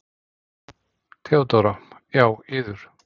THEODÓRA: Já, yður.